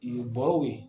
Yen bɔrɔw ye